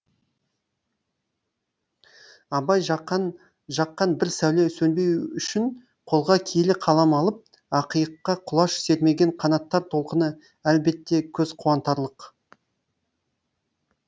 абай жаққан бір сәуле сөнбеу үшін қолға киелі қалам алып ақиыққа құлаш сермеген қанаттар толқыны әлбетте көз қуантарлық